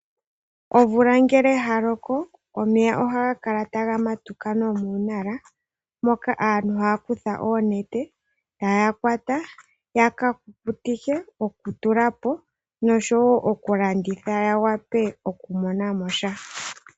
Omvula ngele ya loko omeya oha ga kala taga matuka nomuundombe moka aantu haya kutha oonete etaya kwata oohi yaka kuku tike, dhokulya nosho woo okulanditha ya wa pe okumona mo sha.